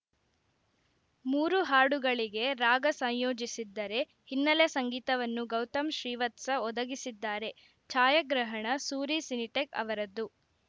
ಮೂರು ಹಾಡುಗಳಿಗೆ ರಾಗ ಸೈಯೋಜಿಸಿದ್ದರೆ ಹಿನ್ನಲೆ ಸಂಗೀತವನ್ನು ಗೌತಮ್‌ ಶ್ರೀವತ್ಸ ಒದಗಿಸಿದ್ದಾರೆ ಛಾಯಗ್ರಹಣ ಸೂರಿ ಸಿನಿಟೆಕ್‌ ಅವರದ್ದು